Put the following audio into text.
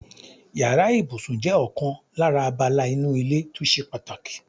Yàrá ìbùsùn jé̩ ò̩kan lára abala inú ilé tó s̩e pàtàkì.